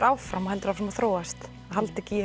áfram og heldur áfram að þróast halda ekki